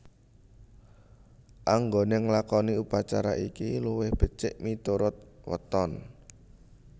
Anggone nglakoni upacara iki luwih becik miturut weton